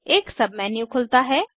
एक सबमेन्यू खुलता है